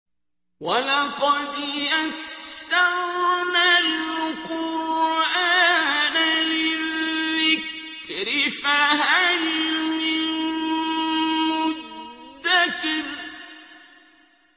وَلَقَدْ يَسَّرْنَا الْقُرْآنَ لِلذِّكْرِ فَهَلْ مِن مُّدَّكِرٍ